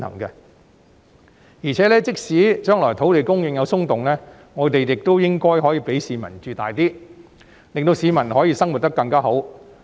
而且，即使將來土地供應有"鬆動"，我們亦應該讓市民居住空間大一點，令市民可以生活得更好。